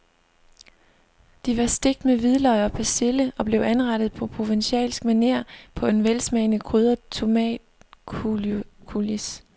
De var stegt med hvidløg og persille og blev anrettet på provencalsk maner på en velsmagende krydret tomatcoulis.